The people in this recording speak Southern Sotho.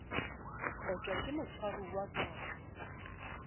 kotjwa ke motshwaruwa ka ho